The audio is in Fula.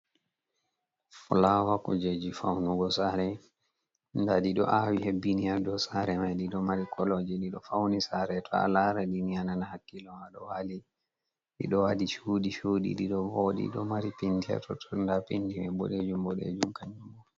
Flawa kujeji faunugo sare. Nda ɗi ɗo awi hebbini ha dou sare mai. Ɗi ɗo mari kolo, ɗi ɗo fauni sare. To a lara ɗi ni a nana hakkilo ma ɗo wali. Ɗiɗo waɗi cuɗi-cuɗi. Ɗi ɗo vooɗi, ɗo mari penti ha totton, nda penti mai boɗejum boɗeejum kanjum mai.